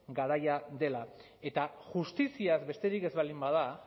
garaia dela eta justiziaz besterik ez baldin bada